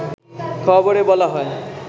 খবরে বলা হয়